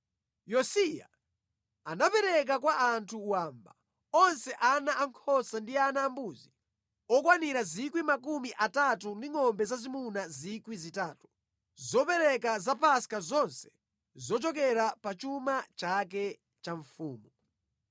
Yosiya anapereka kwa anthu wamba onse ana ankhosa ndi ana ambuzi okwanira 30,000 ndi ngʼombe zazimuna 3,000, zopereka za Paska zonse zochokera pa chuma chake cha mfumu.